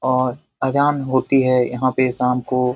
और अजान होती है यहाँ पे शाम को ।